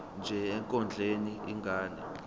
nje ekondleni ingane